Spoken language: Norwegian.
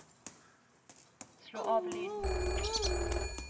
slå av lyden